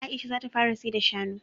Aisha za ta fara sayar da shanu